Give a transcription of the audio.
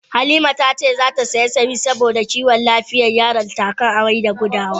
Halima ta ce zata saya samis saboda kiwon lafiyan yaronta, a kan amai da gudawa.